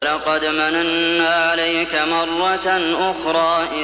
وَلَقَدْ مَنَنَّا عَلَيْكَ مَرَّةً أُخْرَىٰ